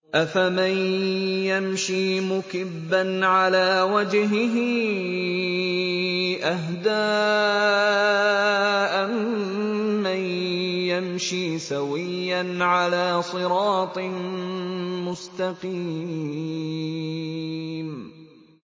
أَفَمَن يَمْشِي مُكِبًّا عَلَىٰ وَجْهِهِ أَهْدَىٰ أَمَّن يَمْشِي سَوِيًّا عَلَىٰ صِرَاطٍ مُّسْتَقِيمٍ